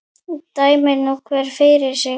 Dæmi nú hver fyrir sig.